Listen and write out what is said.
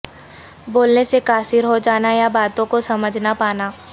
بولنے سے قاصر ہوجانا یا باتوں کو سمجھ نہ پانا